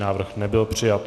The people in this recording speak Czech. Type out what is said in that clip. Návrh nebyl přijat.